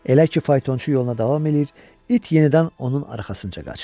Elə ki, faytonçu yoluna davam eləyir, it yenidən onun arxasınca qaçır.